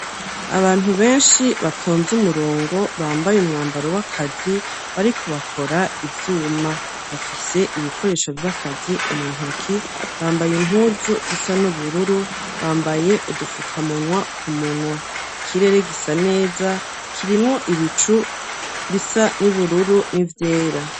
Abantu benshi batonze umurongo bambaye umwambaro w'akazi bariko bakora ivyuma, bafise ibikoresho vy'akazi mu ntoki bambaye impuzu zisa n'ubururu, bambaye udufuka munwa ku munwa ikirere gisa neza kirimwo ibicu bisa n'ibururu n'ivyera.